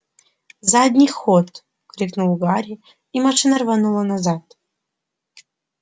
задний ход крикнул гарри и машина рванула назад